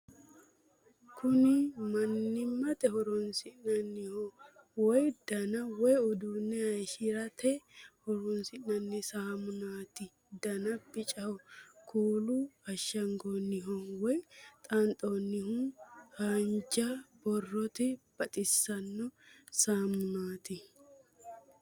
kuni mannimate horoonsi'nanniho woy dana woy uduunne hayshshirate horoonsi'nanni saamunaati dana bicaho kuulu ashshangoonnihu woy xaanxoonnihu lhaanjja borrooti baxisanno saamunaati